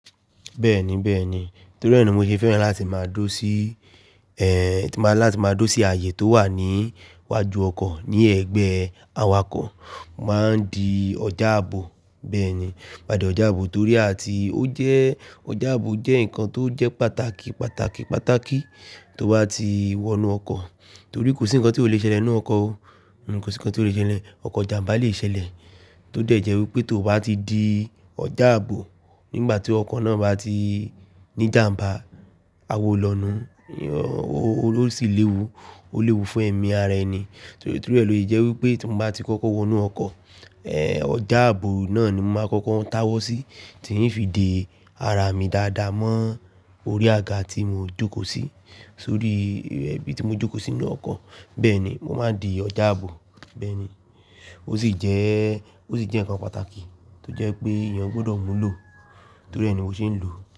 Bẹ́ẹ̀ni, bẹ́ẹ̀ni. Nítorí rẹ̀ ni mo ṣe fẹ́ràn láti máa dó sí, ẹ, láti máa dó sí ààyè tó wà ní iwájú ọkọ̀ ní ẹ̀gbẹ́ awakọ̀. Máa ń di ọjà ààbò. Bẹ́ẹ̀ni. Gbadé ọjà ààbò torí àti ó jẹ́, ọjà ààbò jẹ́ nǹkan tó jẹ́ pàtàkì, pàtàkì, pàtàkì tó bá ti wọnú ọkọ̀. Torí kò sí nǹkan tí ò le ṣẹlẹ̀ nínú ọkọ̀ o. Kò sí nǹkan tí ò le ṣẹlẹ̀. Ọkọ̀ ìjàmbá le ṣẹlẹ̀ tó dẹ̀ jẹ́ wípé tó bá ti di ọjà ààbò nígbà tí ọkọ̀ náà bá ti ní ìjàmbá, awó lọnu. Ó sì léwu, ó léwu fún ẹ̀mí ara ẹni. Torí rẹ̀ ló jẹ́ wípé tí mo bá ti kókó wọnú ọkọ̀, ẹ, ọjà ààbò náà ni mo máa kókó táwọ́ sí, kí n lè fi de ara mi dáadáa mọ́ orí àga tí mo jókòó sí. Sórí ibi tí mo jókòó sínú ọkọ̀. Bẹ́ẹ̀ni, mo máa ń di ọjà ààbò. Bẹ́ẹ̀ni. Ó sì jẹ́, ó sì jẹ́ nǹkan pàtàkì tó jẹ́ pé èèyàn gbọdọ̀ mú lò. Torí rẹ̀ ni mo ṣe ń lò ó.